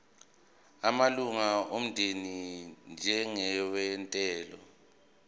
amalunga omndeni njengenyathelo